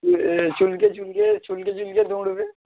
এ চুলকে চুলকে চুলকে চুলকে দৌড়োবে